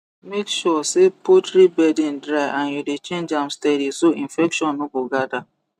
make sure say poultry bedding dry and you dey change am steady so infection no go gather